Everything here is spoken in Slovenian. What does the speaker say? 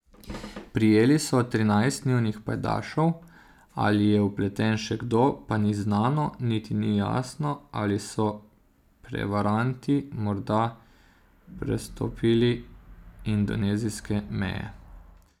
Prijeli so trinajst njunih pajdašev, ali je vpleten še kdo, pa ni znano, niti ni jasno, ali so prevaranti morda prestopili indonezijske meje.